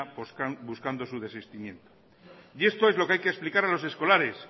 buscando su desistimiento esto es lo que hay que explicar a los escolares